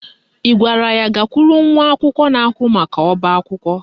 Ị gwara ya gakwuru nwa akwụkwọ na-ahụ maka ọbaakwụkwọ?